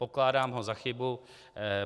Pokládám ho za chybu.